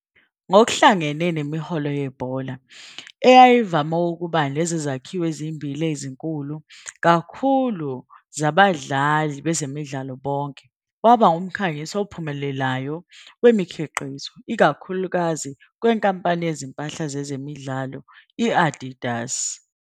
Ngokuhlangene nemiholo yebhola, eyayivame ukuba nezezakhiwo ezimbili ezinkulu kakhulu zabadlali bezemidlalo bonke, waba ngumkhangisi ophumelelayo wemikhiqizo, ikakhulukazi kwenkampani yezimpahla zezemidlalo i-Adidas.